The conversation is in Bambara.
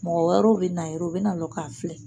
Mɔgɔ wɛrɛ be na yɛrɛ o be na lɔ k'a filɛ